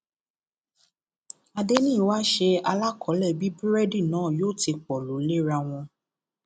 adẹniyí wáá ṣe alàkọlé bí búrẹdì náà yóò ti pọlọ léra wọn